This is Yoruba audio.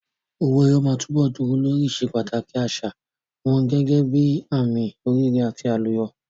Owó ẹyọ máa túbọ̀ dúró lórí ìsepàtàkì àṣà wọn gẹ́gẹ́ bíi àmì oríire àti àlùyọ.